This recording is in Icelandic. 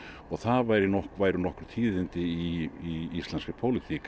og það væru nokkur væru nokkur tíðindi í íslenskri pólitík